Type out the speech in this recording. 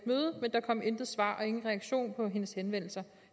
der kom intet svar og ingen reaktion på hendes henvendelser